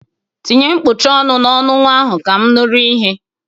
Tinye kpuchie ọnụ n'ọnụ nwa ahụ ka m nụrụ ihe!